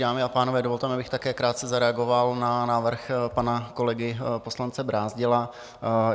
Dámy a pánové, dovolte mi, abych také krátce zareagoval na návrh pana kolegy poslance Brázdila.